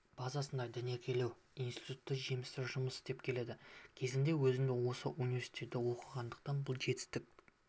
базасында дәнекерлеу институты жемісті жұмыс істеп келеді кезінде өзім де осы университетте оқығандықтан бұл жетістік